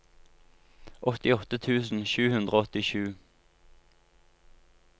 åttiåtte tusen sju hundre og åttisju